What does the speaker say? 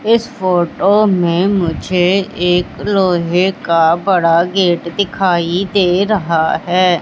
इस फोटो में मुझे एक लोहे का बड़ा गेट दिखाई दे रहा है।